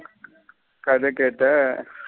கத கேட்ட.